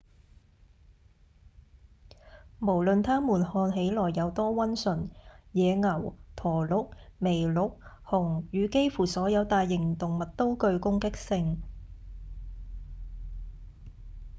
無論他們看起來有多溫順野牛、駝鹿、麋鹿、熊與幾乎所有大型動物都具攻擊性